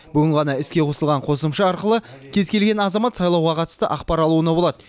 бүгін ғана іске қосылған қосымша арқылы кез келген азамат сайлауға қатысты ақпар алуына болады